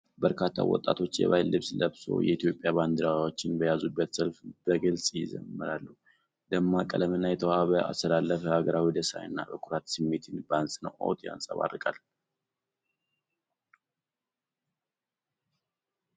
በርካታ ወጣቶች የባህል ልብስ ለብሰው፣ የኢትዮጵያ ባንዲራዎችን በያዙበት ሰልፍ በግልጽ ይዘምራሉ። ደማቅ ቀለምና የተዋበው አሰላለፍ የሀገራዊ ደስታንና የኩራት ስሜትን በአጽንዖት ያንጸባርቃል።